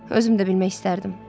Özüm də bilmək istərdim.